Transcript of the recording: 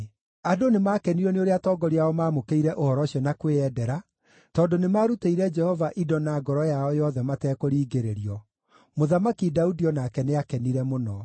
Andũ nĩmakenirio nĩ ũrĩa atongoria ao maamũkĩire ũhoro ũcio na kwĩyendera, tondũ nĩmarutĩire Jehova indo na ngoro yao yothe matekũringĩrĩrio. Mũthamaki Daudi o nake nĩakenire mũno.